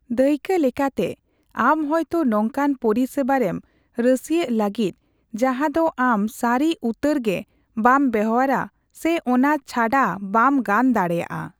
ᱫᱟᱹᱭᱠᱟᱹ ᱞᱮᱠᱟᱛᱮ, ᱟᱢ ᱦᱳᱭᱛᱳ ᱱᱚᱝᱠᱟᱱ ᱯᱚᱨᱤᱥᱮᱵᱟᱨᱮᱢ ᱨᱟᱹᱥᱤᱭᱟᱹᱜ ᱞᱟᱹᱜᱤᱫ ᱡᱟᱦᱟ ᱫᱚ ᱟᱢ ᱥᱟᱨᱤ ᱩᱛᱟᱹᱨ ᱜᱮ ᱵᱟᱢ ᱵᱮᱣᱦᱟᱨᱟ ᱥᱮ ᱚᱱᱟ ᱪᱷᱟᱰᱟ ᱵᱟᱢ ᱜᱟᱱ ᱫᱟᱲᱮᱭᱟᱜᱼᱟ ᱾